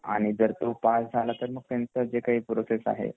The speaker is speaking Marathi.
मग तो पास झाल तर मग त्यांच जे काही प्रोसेस आहे